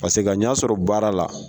Paseke ka ɲa sɔrɔ baara la.